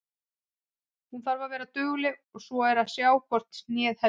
Hún þarf að vera dugleg og svo er að sjá hvort hnéð heldur.